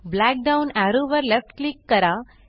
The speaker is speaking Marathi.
ब्लॅक डाउन एरो वर लेफ्ट क्लिक करा